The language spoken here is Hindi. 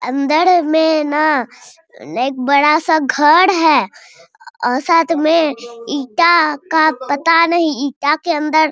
अंदर में ना एक बड़ा सा घर है साथ में ईटा का पता नहीं ईटा के अंदर --